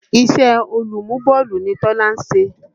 Ìṣẹ́ olùmú bọ́ọ̀lù ni Tọ́lá ṣe.